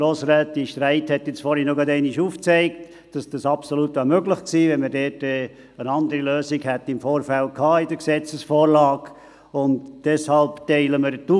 Grossrätin Streit hat vorhin gerade wieder aufgezeigt, dass das absolut möglich gewesen wäre, wenn man im Vorfeld in der Gesetzesvorlage eine andere Möglichkeit gehabt hätte.